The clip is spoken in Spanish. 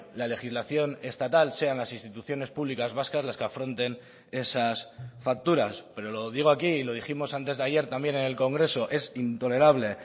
la legislación estatal sean las instituciones públicas vascas las que afronten esas facturas pero lo digo aquí y lo dijimos antes de ayer también en el congreso es intolerable